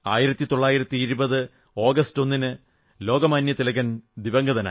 1920 August 01 ന് ലോകമാന്യ തിലകൻ ദിവംഗതനായി